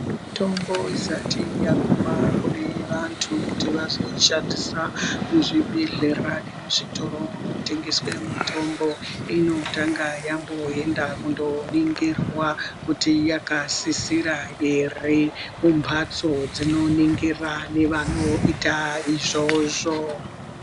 Mitombo isati yahuma kune vanhu kuti vazoishandisa muzvibhedhlera nemuzvitoro munotengesa mitombo inotanga yamboenda kunoningirwa kuti yakasisira here kumbatso dzinoningira nevanoita izvozvo.